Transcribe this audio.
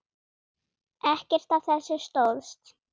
Ekkert af þessu stóðst.